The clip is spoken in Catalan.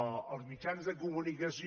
els mitjans de comunicació